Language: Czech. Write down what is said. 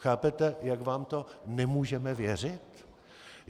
Chápete, jak vám to nemůžeme věřit?